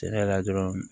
Cɛn yɛrɛ la dɔrɔn